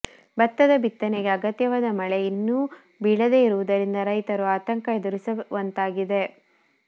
ಭತ್ತದ ಬಿತ್ತನೆಗೆ ಅಗತ್ಯವಾದ ಮಳೆ ಇನ್ನೂ ಬೀಳದೇ ಇರುವುದರಿಂದ ರೈತರು ಆತಂಕ ಎದುರಿಸುವಂತಾಗಿದೆ